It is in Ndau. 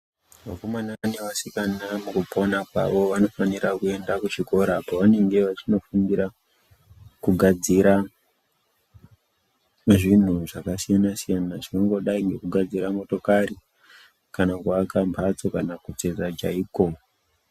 Vakomana nevasikana mukupona kwavo vanofanira kuenda kuchikora kwavange vechinofundira kugadzira zvinhu zvakasiyana siyana, zvinongodai nekugadzira motokari kana kuaka mhatso kana kutsetsa chaiko.